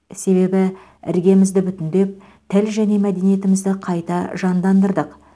себебі іргемізді бүтіндеп тіл және мәдениетімізді қайта жандандырдық